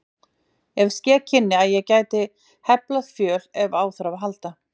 En ske kynni að ég gæti heflað fjöl ef á þarf að halda.